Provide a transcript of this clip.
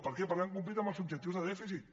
per què perquè han complert amb els objectius de dèficit